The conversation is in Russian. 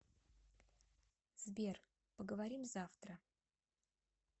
сбер поговорим завтра